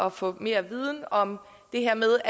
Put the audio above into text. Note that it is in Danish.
at få mere viden om det her med